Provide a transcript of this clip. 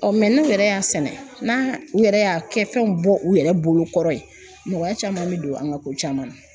n'u yɛrɛ y'a sɛnɛ, n'a u yɛrɛ y'a kɛ fɛn bɔ u yɛrɛ bolo kɔrɔ ye nɔgɔya caman be don an ka ko caman na.